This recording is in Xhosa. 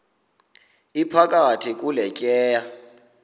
iphakathi kule tyeya